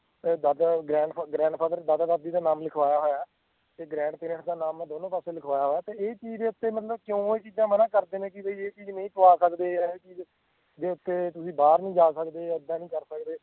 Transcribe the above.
ਤੇ ਦਾਦਾ grandfather ਦਾਦਾ ਦਾਦੀ ਦਾ ਨਾਮ ਲਿਖਵਾਇਆ ਹੋਇਆ ਆ ਤੇ grandparents ਦਾ ਨਾਮ ਮੈਂ ਦੋਨੋ ਪਾਸੇ ਲਿਖਵਾਇਆ ਹੋਇਆ ਆ ਤੇ ਇਹ ਚੀਜ਼ ਦੇ ਉੱਤੇ ਮਤਲਬ ਕਿਉਂ ਇਹ ਚੀਜ਼ਾਂ ਮਨਾ ਕਰਦੇ ਨੇ ਬਈ ਇਹ ਚੀਜ਼ ਨਹੀਂ ਜਾ ਸਕਦੇ ਜਾਂ ਇਹ ਚੀਜ਼ ਦੇ ਉੱਤੇ ਤੁਸੀਂ ਬਾਹਰ ਨੀ ਜਾ ਸਕਦੇ ਏਦਾਂ ਨੀ ਕਰ ਸਕਦੇ